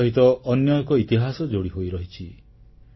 ପଞ୍ଜାବ ସହିତ ଅନ୍ୟ ଏକ ଇତିହାସ ଯୋଡ଼ିହୋଇ ରହିଛି